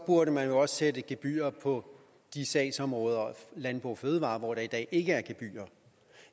burde man jo også sætte gebyrer på de sagsområder landbrug og fødevarer hvor der i dag ikke er gebyrer